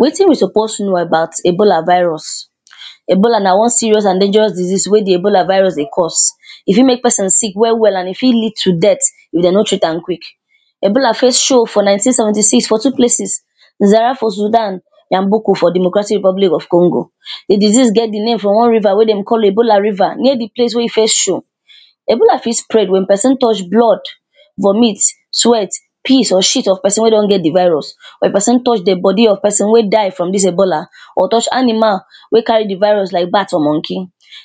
Wetin we suppose know about ebola virus. Ebola na one serious and deinjeros disease wey de ebola virus de cause. e fit make pesin sick well well and e fit lead to dead if dem no treat am quick. Ebola first show for nineteen seventy six for two places; Zara for Sudan and Boko for de Democratic Republic of Congo. De disease get de name from one river wey dem call ebola river near de place wey e first show. Ebola fit spread wen pesin touch blood, vomit, sweat, piss or shit of pesin wey don get de virus. Wen pesin touch dead body of persin wey die from dis ebola or touch animal wey carry de virus like bat or monkey.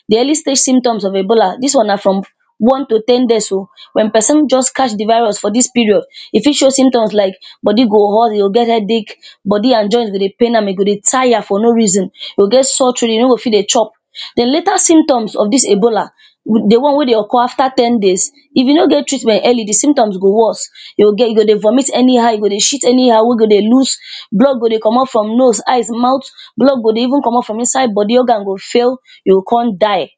De early stage symptom of ebola, dis wan na from one to ten days.o Wen person just catch de virus for dis period, e fit show symptoms like; body go hot e go get headache, body and joint go de pain am, e go de tire for no reason, e go get sore troat e no go fit de chop. De later symptoms of dis ebola de one wey de occur afta ten days, if you no get treatment early de symptoms go worse. you go get, You go de vomit anyhow, you go de shit anyhow, wey go de lose, blood go de comot from nose, eyes, maut. Blood go de even comot from inside body, organ go fail, you go come die.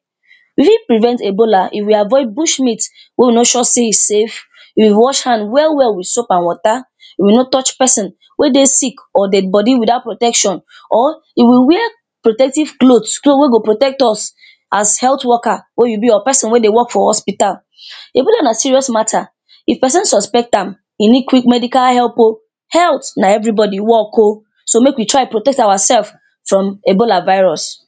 Real prevent e?bo?la? if we avoid bush meat wey e no sure sey e safe, we wash hand well well wit soap and wata, we no touch pesin wey dey sick or dead body without protection or if we wear protective clothes; cloth wey go protect us, as health worker wey you be or pesin wey de work for hospital. Ebola na serious matter, if pesin suspect am, e need quick medical help.o Health na everybody work.o, so make we try protect ourself from ebola virus.